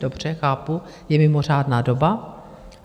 Dobře, chápu, je mimořádná doba.